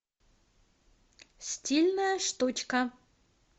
стильная штучка